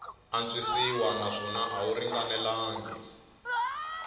antswisiwa naswona a wu ringanelangi